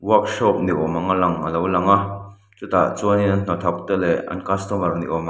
workshop ni awm anga lang a lo lang a chutah chuan an hnathawkte leh customer ni awm ang--